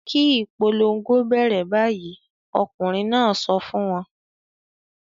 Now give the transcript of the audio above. "Kí ìpolongo bẹ̀rẹ̀ báyìí!" Ọkùnrin náà sọ fún wọn.